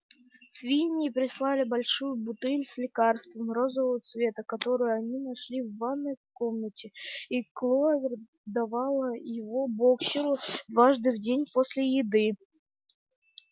свиньи прислали большую бутыль с лекарством розового цвета которую они нашли в ванной комнате и кловер давала его боксёру дважды в день после еды